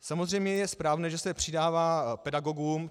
Samozřejmě je správné, že se přidává pedagogům.